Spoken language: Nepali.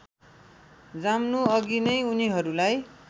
जम्नुअघि नै उनीहरूलाई